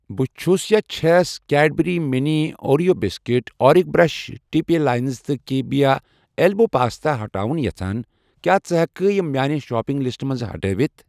بہٕ چھس چھَس کیڑبرٛی مِنی اوریو بِسکوٖٹ، اورِک برٛش ٹِپ اے لاینَر تہٕ کییا اٮ۪لبو پاستا ہٹاوُن یژھان، کیٛاہ ژٕ ہٮ۪کہٕ یِم میانہِ شاپنگ لسٹہٕ منٛز ہٹٲوِتھ